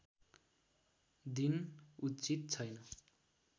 दिन उचित छैन